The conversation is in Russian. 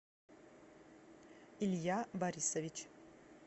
илья борисович